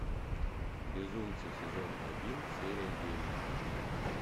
безумцы сезон один серия девять